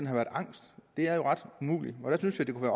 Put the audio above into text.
har været angst det er jo ret umuligt og jeg synes da det kunne